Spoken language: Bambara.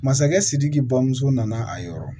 Masakɛ sidiki bamuso nana a yɔrɔ